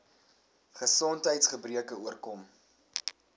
gesondheids gebreke oorkom